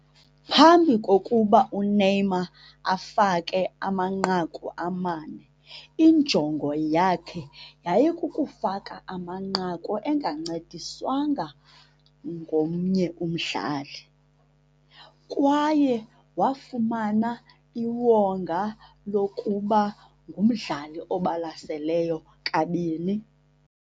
Phambi kokuba uNeymar afake amanqaku amane, injongo yakhe yayikukufaka amanqaku engancediswanga ngomnye umdlali, kwaye wafumana iwonga lokuba ngumdlali obalaseleyo kabini.